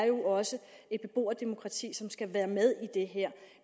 jo også er et beboerdemokrati som skal være med i det her